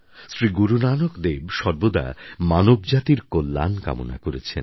শ্রী গুরুনানক দেব সর্বদা মানবজাতির কল্যাণ কামনা করেছেন